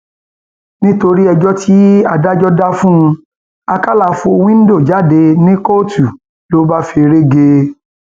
nítorí ẹjọ tí adájọ dá fún un àkàlà fọ wíńdò jáde ní kóòtù ló bá feré gé e